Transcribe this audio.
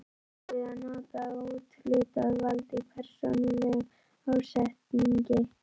Er verið að nota úthlutað vald í persónulegum ásetningi?